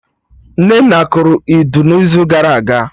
Nnenna kụrụ Udu n'izu gara aga